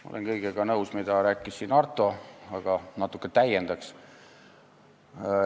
Ma olen kõigega nõus, mida rääkis siin Arto, aga natuke täiendaks.